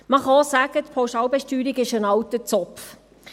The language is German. Man kann auch sagen, die Pauschalbesteuerung sei ein alter Zopf.